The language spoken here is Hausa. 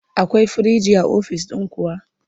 Akwai firinji a ofis ɗin kuwa?